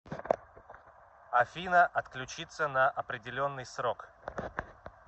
афина отключиться на определенный срок